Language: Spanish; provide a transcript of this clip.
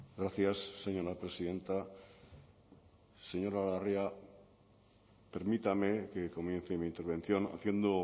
gracias señora presidenta señora larrea permítame que comience mi intervención haciendo